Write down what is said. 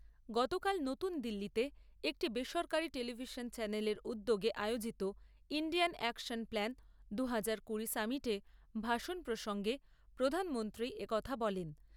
গতকাল নতুনদিল্লীতে একটি বেসরকারি টেলিভিশন চ্যানেলের উদ্যোগে আয়োজিত ইণ্ডিয়ান অ্যাকশন প্ল্যান দু হাজার কুড়ি সামিটে ভাষণ প্রসঙ্গে প্রধানমন্ত্রী একথা বলেন।